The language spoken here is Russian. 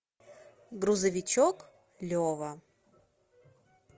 грузовичок лева